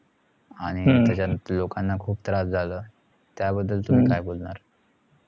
आणि त्याच्यात लोकांना खुप त्रास झाला त्याबद्दल तुमी काय बोलणार